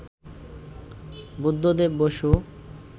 Buddhadeb Basu